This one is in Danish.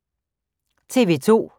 TV 2